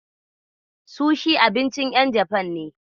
Sushi abincin ƴan Jafan ne.